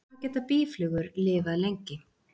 Hvað geta býflugur lifað lengi?